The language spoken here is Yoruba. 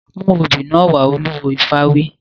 Mú obì náà wá! Olúwo ifá wí.